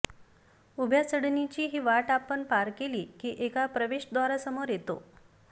उभ्या चढणीची ही वाट आपण पार केली की एका प्रवेशद्वारासमोर येतो